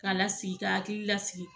K'a lasigi k'a hakili lasigi